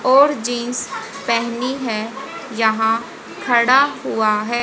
और जींस पहनी है यहां खड़ा हुआ है।